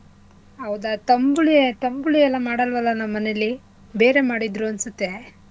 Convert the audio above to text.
ಹೌದಾ ತಂಬುಳಿ~ ತಂಬುಳಿ ಎಲ್ಲಾ ಮಾಡಲ್ವಲ ನಮ್ ಮನೆಲಿ ಬೇರೆ ಮಾಡಿದ್ರು ಅನ್ಸತ್ತೆ.